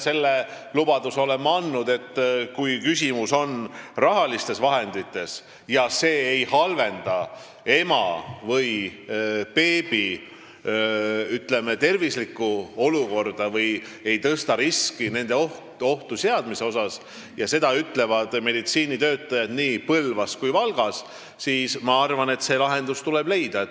Selle lubaduse olen ma andnud, et kui küsimus on rahalistes vahendites ja see otsus ei halvenda ema ega beebi terviseolukorda või ei tõsta nende ohtu seadmise riski ning seda ütlevad meditsiinitöötajad nii Põlvas kui ka Valgas, siis ma arvan, et lahendus tuleb leida.